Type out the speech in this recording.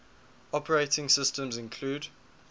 operating systems include